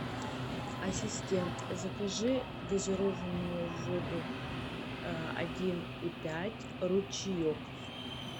ассистент закажи газированную воду один и пять ручеек